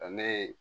Ale ye